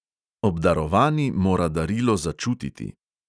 Obdarovani mora darilo začutiti ...